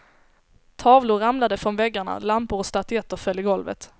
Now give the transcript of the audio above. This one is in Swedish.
Tavlor ramlade från väggarna, lampor och statyetter föll i golvet.